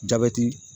Jabɛti